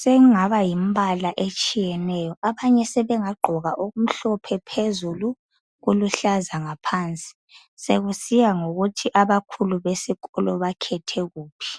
sekungaba yimbala etshiyeneyo abanye sebengagqoka, okumhlophe phezulu kuluhlaza ngaphansi sekusiya ngokuthi abakhulu besikolo bakhethe kuphi.